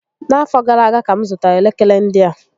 Na afọ gara aga ka m zụtara elekere ndị a